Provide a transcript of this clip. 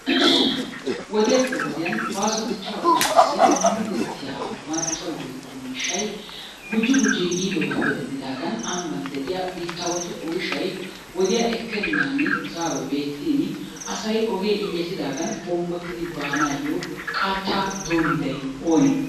Wodiyaappe wodiyaan baaso dichcha oosuwasi mudetiyaa marccoy woykko miishshay gujji gujji yiidoogappe denddidaagan ambban de'iyaa biittawatu oyshshay wodiyaa ekkenan zaaroy beettin asay ogee injjetidaaga bonggotidi baanayyo qaata doommiday oone?